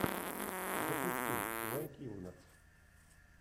запусти вэл килмер